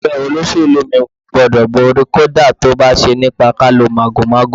Ẹgbẹ́ olóṣèlú mi gbúdọ̀ borí, kódà tó bá ṣe nípa kí á lo màgòmágó.